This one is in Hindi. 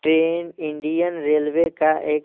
ट्रेन इंडियन रेलवे का एक--